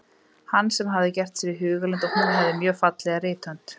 Hann sem hafði gert sér í hugarlund að hún hefði mjög fallega rithönd.